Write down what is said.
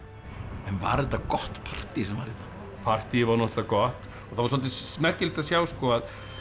en var þetta gott partí sem var hérna partíið var náttúrulega gott og það var svolítið merkilegt að sjá að